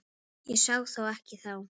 Ég sá það ekki þá.